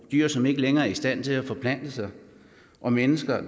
dyr som ikke længere er i stand til at forplante sig og mennesker